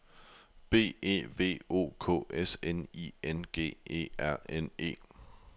B E V O K S N I N G E R N E